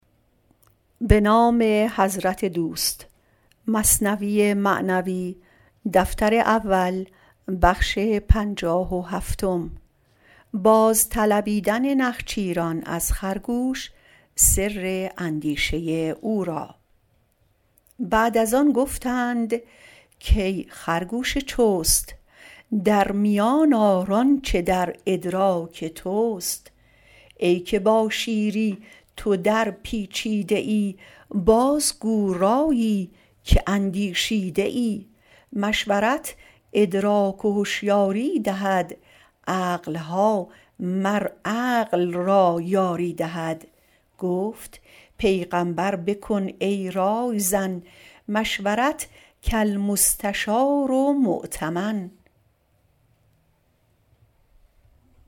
بعد از آن گفتند کای خرگوش چست در میان آر آنچ در ادراک تست ای که با شیری تو در پیچیده ای بازگو رایی که اندیشیده ای مشورت ادراک و هشیاری دهد عقلها مر عقل را یاری دهد گفت پیغامبر بکن ای رای زن مشورت کالمستشار مؤتمن